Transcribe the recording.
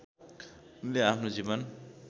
उनले आफ्नो जीवन